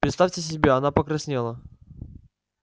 представьте себе она покраснела